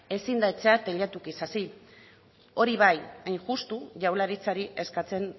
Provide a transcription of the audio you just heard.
ezin da etxea teilatutik hasi